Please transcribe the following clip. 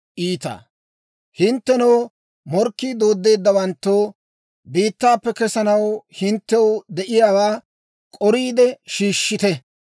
Hinttenoo, morkkii dooddeeddawanttoo, biittaappe kesanaw hinttew de'iyaawaa k'oriide shiishshite.